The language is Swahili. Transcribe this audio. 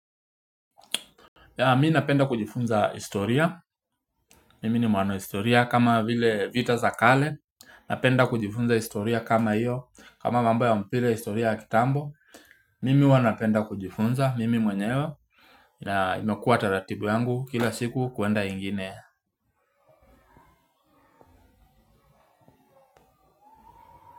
Ya mi napenda kujifunza historia mimi ni mwana wa historia kama vile vita za kale napenda kujifunza historia kama hiyo kama mambo ya mpira historia ya kitambo mimi huwa napenda kujifunza mimi mwenyewe ya imekuwa taratibu yangu kila siku kuenda ingine.